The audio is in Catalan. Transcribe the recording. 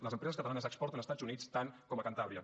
les empreses catalanes exporten a estats units tant com a cantàbria